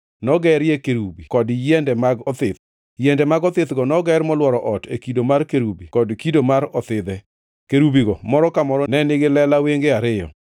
nogerie kerubi kod yiende mag othith. Yiende mag othithgo noger molworo ot e kido mar kerubi kod kido mar othidhe. Kerubigo moro ka moro ne nigi lela wenge ariyo: